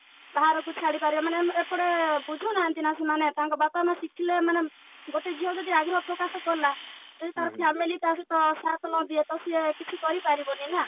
ବାହାରକୁ ଛାଡ଼ିପାରିବେ ମାନେ ଏପଟେ ବୁଝୁନାହାନ୍ତି ନା ସେମାନେ ତାଙ୍କ ବାପା ମାଆ ଶିଖିଲେ ମାନେ ଗୋଟେ ଝିଅ ଯଦି ଆଗ୍ରହ ପ୍ରକାଶ କଲା ଯଦି ତା family ତା ସହିତ ସାଥ ନାଦିଏ ତ ସିଏ କିଛି କରିପାରିବନି ନା